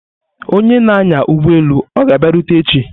Onye na-anya ụgbọelu ọ ga-abịarute echi?